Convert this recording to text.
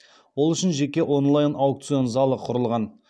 ол үшін жеке онлайн аукцион залы құрылған